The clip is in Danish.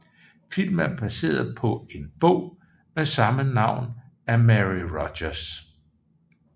Filmen er baseret på en bog med samme navn af Mary Rodgers